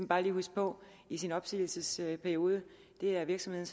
bare lige huske på i sin opsigelsesperiode det er virksomheden